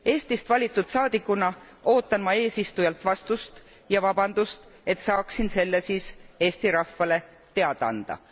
Eestist valitud saadikuna ootan ma eesistujalt vastust ja vabandust, et saaksin selle siis Eesti rahvale teada anda.